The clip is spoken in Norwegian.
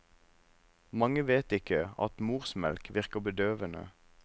Mange vet ikke at morsmelk virker bedøvende.